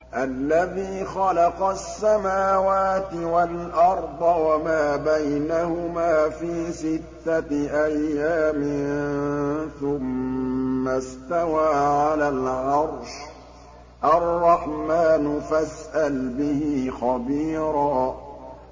الَّذِي خَلَقَ السَّمَاوَاتِ وَالْأَرْضَ وَمَا بَيْنَهُمَا فِي سِتَّةِ أَيَّامٍ ثُمَّ اسْتَوَىٰ عَلَى الْعَرْشِ ۚ الرَّحْمَٰنُ فَاسْأَلْ بِهِ خَبِيرًا